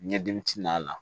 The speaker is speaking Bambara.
Ɲɛdimi t'a la